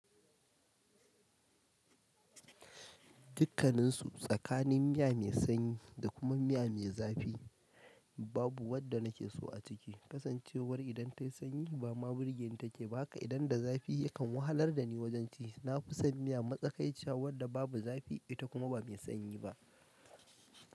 Dukkaninsu tsakanin miya mai sanyi da kuma miya mai zafi babu wadda nake so a ciki. Kasancewar idan ta yi sanyi ba ma birgeni take ba haka idan da zafi yakan wahalar da ni wajen ci. Na fi son miya matsakaiciya wadda babu zafi ita kuma ba mai sanyi ba.